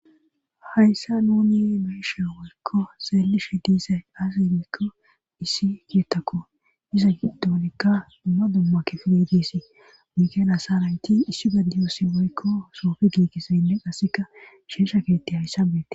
Hayssa nuni meishe moykko seelishe diise daasimikko issi kiettako iza giddonikka dumma dumma ki firidisi mikelasa rayti issi gaddiyoosi moykko soofi giigisaynne qasseka sheesha keetti hayssa beette